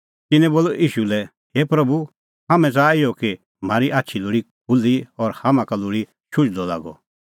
तिन्नैं बोलअ ईशू लै हे प्रभू हाम्हैं च़ाहा इहअ कि म्हारी आछी लोल़ी खुल्ही और हाम्हां का लोल़ी शुझदअ लागअ